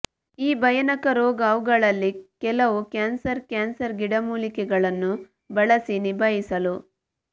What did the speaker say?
ಈ ಭಯಾನಕ ರೋಗ ಅವುಗಳಲ್ಲಿ ಕೆಲವು ಕ್ಯಾನ್ಸರ್ ಕ್ಯಾನ್ಸರ್ ಗಿಡಮೂಲಿಕೆಗಳನ್ನು ಬಳಸಿ ನಿಭಾಯಿಸಲು